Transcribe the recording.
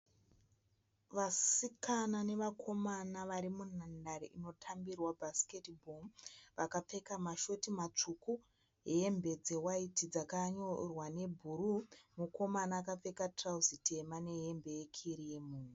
Vasikana navakomana vari munhandare inotambirwa "basketball" vakapfeka mashoti matsvuku, hembe dzewaiti dzakanyorwa nebhuruu. Mukomana akapfeka tirauzi tema nehembe yekirimu.